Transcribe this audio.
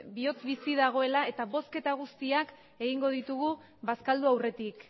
bihotz bizi dagoela eta bozketa guztiak egingo ditugu bazkaldu aurretik